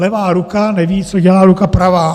Levá ruka neví, co dělá ruka pravá.